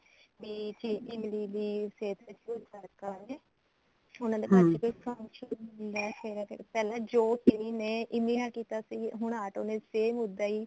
ਤੇ ਇਮਲੀ ਦੀ ਸਿਹਤ ਤੇ ਭਰੋਸਾ ਰੱਖਾ ਉਹਨੇ ਉਹਨਾਂ ਦੇ ਘਰ ਕੋਈ function ਸ਼ੁਰੂ ਹੁੰਦਾ ਫੇਰ ਅੱਗੇ ਪਹਿਲਾਂ ਜੋ ਚਿਰੀ ਨੇ ਇਮਲੀ ਨਾਲ ਕੀਤਾ ਸੀ ਹੁਣ ਆਟੋ ਨੇ same ਉੱਦਾਂ ਹੀ